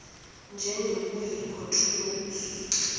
njengokuyikho true notes